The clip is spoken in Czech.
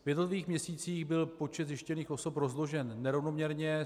V jednotlivých měsících byl počet zjištěných osob rozložen nerovnoměrně.